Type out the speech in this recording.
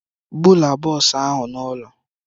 Bulaa bọsụ ah ụ n'ụlọ!